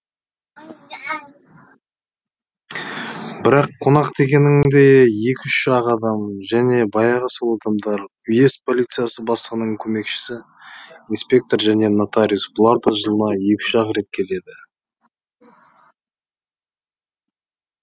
бірақ қонақ дегенің де екі үш ақ адам және баяғы сол адамдар уезд полициясы бастығының көмекшісі инспектор және нотариус бұлар да жылына екі үш ақ рет келеді